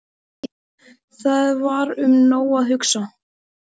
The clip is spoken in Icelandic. Það var um nóg að hugsa.